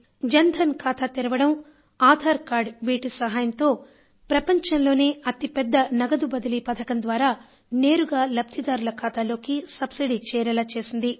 జన్ ధన్ ఖాతా తెరవడం ఆధార్ కార్డు వీటి సహాయంతో ప్రపంచంలోనే అతి పెద్ద నగదు బదిలీ పథకం ద్వారా నేరుగా లబ్ధిదారుల ఖాతాలోకి సబ్సిడీ చేరేలా చేసింది